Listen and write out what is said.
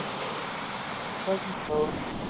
ਕਿਥੋਂ ਕੀਤਾ?